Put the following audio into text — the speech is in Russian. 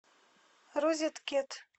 розеткед